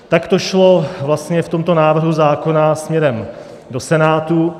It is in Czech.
Tak to šlo vlastně v tomto návrhu zákona směrem do Senátu.